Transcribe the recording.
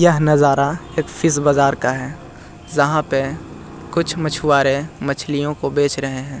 यह नज़ारा एक फिश बाजार का है जहाँ पे कुछ मछवारे मछलियों को बेच रहे है।